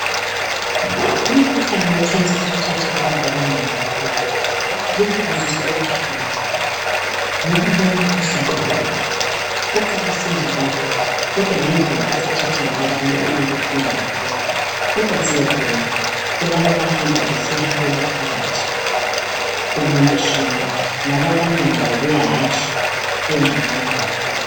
Umkhuhlane wecancer usuthethe abantu abanengi kakhulu lokhu kuzwisa ubuhlungu ngoba lowumkhuhlane uqalise nje kalula kodwa ngendlela osuthethe ngayo abantu kubuhlungu kakhulu. Kodwa siyabonga kulabo abahamba besiyahlolwa phakathi kumtshina ngoba abanengi babuya hatshi bengconywana kakhulu.